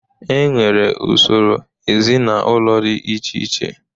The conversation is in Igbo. E nwere usoro ezinaụlọ dị iche iche.